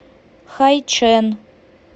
хайчэн